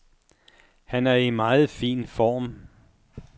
Han er i meget fin form.